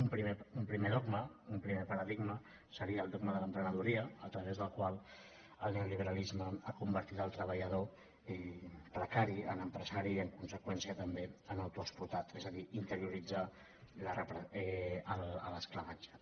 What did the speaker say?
un primer dogma un primer paradigma seria el dog·ma de l’emprenedoria a través del qual el neolibera·lisme ha convertit el treballador precari en empresari i en conseqüència també en autoexplotat és a dir interioritzar l’esclavatge